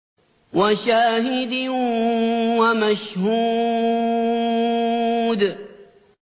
وَشَاهِدٍ وَمَشْهُودٍ